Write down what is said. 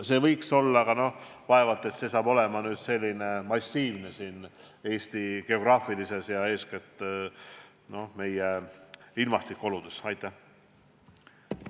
See võiks olla, aga vaevalt see saab Eesti geograafilistes ja eeskätt meie ilmastikuoludes massiivne tootmine olla.